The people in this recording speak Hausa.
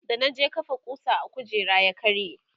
da na je kafa kusa a kujera ya karye